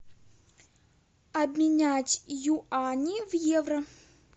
обменять юани в евро